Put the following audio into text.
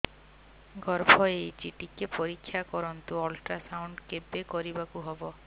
ଗର୍ଭ ହେଇଚି ଟିକେ ପରିକ୍ଷା କରନ୍ତୁ ଅଲଟ୍ରାସାଉଣ୍ଡ କେବେ କରିବାକୁ ହବ